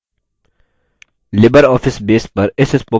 libreoffice base पर इस spoken tutorial में आपका स्वागत है